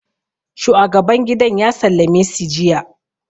shuagaban gidan ya sallame si jiya